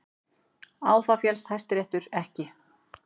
Á það féllst Hæstiréttur ekki